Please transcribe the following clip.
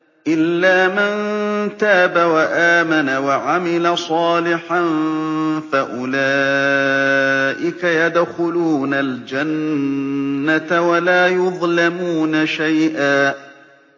إِلَّا مَن تَابَ وَآمَنَ وَعَمِلَ صَالِحًا فَأُولَٰئِكَ يَدْخُلُونَ الْجَنَّةَ وَلَا يُظْلَمُونَ شَيْئًا